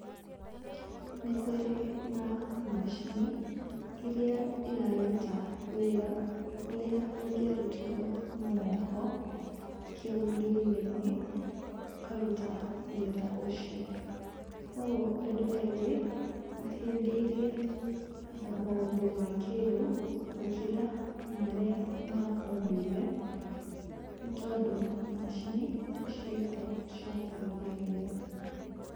Nĩ kũrĩ na macini iria iraruta wĩra ũrĩa ũngĩarutitwo na moko, kĩ ũndũire-inĩ, ũkaruta wĩra ũcio. Kũguo andũ aingĩ mahĩmbĩirie maũndũ ma kĩĩrĩu gũkĩra marĩa ma ũndũire, nĩ tondũ macini ciĩkwo cia kũhũthia wĩra.